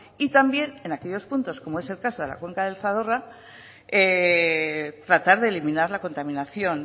y también en aquellos puntos como es el caso de la cuenca del zadorra tratar de eliminar la contaminación